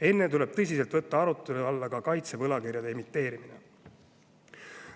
Enne tuleb tõsiselt võtta arutelu alla ka kaitsevõlakirjade emiteerimine.